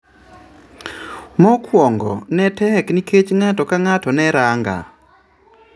"Mokwongo ne tek nikech ng'ato ka ng'ato neranga".